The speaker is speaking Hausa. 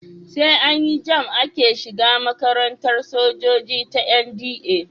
Sai an yi JAMB ake shiga makarantar sojoji ta NDA.